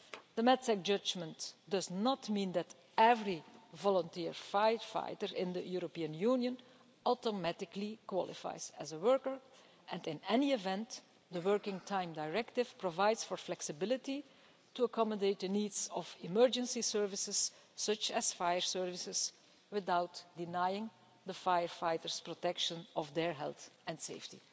The Matzak judgment does not mean that every volunteer firefighter in the European Union automatically qualifies as a worker and, in any event, the Working Time Directive provides for flexibility to accommodate the needs of emergency services, such as fire services, without denying the firefighters protection of their health and safety.